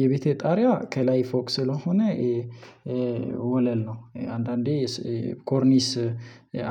የቤቴ ጣሪያ ከላይ ፎቅ ስለሆነ ወለል ነው። አንዳንዴ ኮርኒስ